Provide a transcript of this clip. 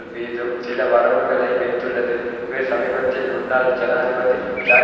சில வரம்புகளை வைத்துள்ளது இவை சமீபத்தில் முன்னாள் ஜனாதிபதி ஜாக் சிராக்கினால்